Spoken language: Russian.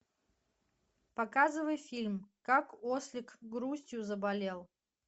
показывай фильм как ослик грустью заболел